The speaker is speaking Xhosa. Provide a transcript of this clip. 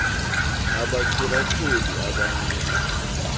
abachola choli abanika